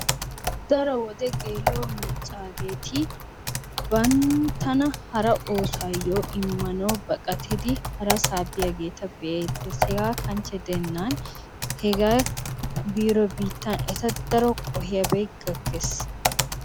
Daro gela'o maccaageeti banttana hara oosuwayoo emanawu harasaa biyaageeta be'iidi deettees. Hegaa kanchche gidennan biiro biittan eta daro qohiyaabay gakkees.